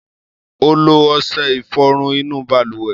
Ó lo ọṣẹ ìfọrun inú balùwẹ̀.